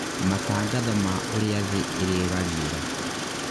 matangatho ma ũria thĩ irĩgariũra